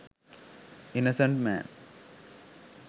innocent man